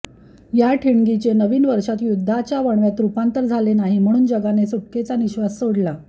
या ठिणगीचे नवीन वर्षात युद्धाच्या वणव्यात रूपांतर झाले नाही म्हणून जगाने सुटकेचा निश्वास सोडला